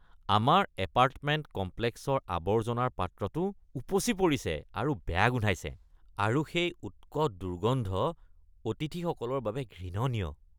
আমাৰ এপাৰ্টমেণ্ট কমপ্লেক্সৰ আৱৰ্জনাৰ পাত্ৰটো উপচি পৰিছে আৰু বেয়া গোন্ধাইছে আৰু সেই উৎকট দুৰ্গন্ধ অতিথিসকলৰ বাবে ঘৃণনীয়।